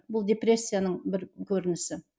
бұл депрессияның бір көрінісі